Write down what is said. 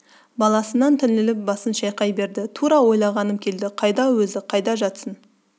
баласынан түңіліп басын шайқай берді тура ойлағаным келді қайда өзі қайда жатсың